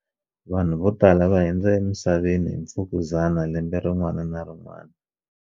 Vanhu vo tala va hundza emisaveni hi mfukuzana lembe rin'wana na rin'wana